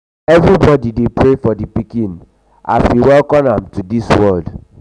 everybody dey pray for di pikin as we welcome am to the world.